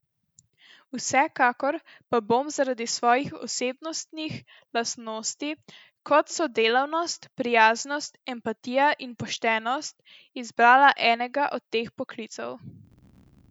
Vsekakor pa bom zaradi svojih osebnostnih lastnosti, kot so delavnost, prijaznost, empatija in poštenost, izbrala enega od teh poklicev.